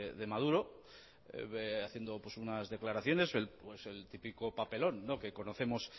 de maduro haciendo unas declaraciones el típico papelón que conocemos